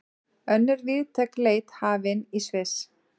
Önnur víðtæk leit hafin í Sviss